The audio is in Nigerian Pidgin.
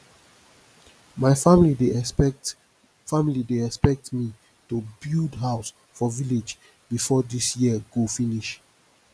my family dey expect family dey expect me to build house for village before this year go finish